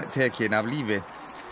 tekin af lífi